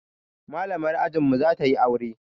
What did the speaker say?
Malamar ajin mu za ta yi aure